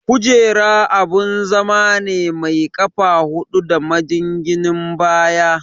Kujera abun zama ne mai ƙafa hudu da majinginin baya.